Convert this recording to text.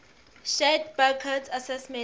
shared burckhardt's assessment